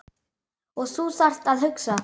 Og þú þarft að hugsa.